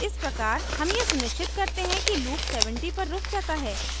इस प्रकार हम यह सुनिश्चित करते हैं कि loop 70 पर रुक जाता है